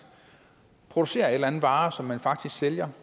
producerer en eller anden vare som man sælger